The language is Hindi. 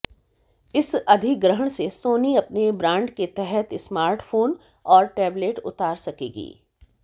इस अधिग्रहण से सोनी अपने ब्रांड के तहत स्मार्टफोन और टेबलेट उतार सकेगी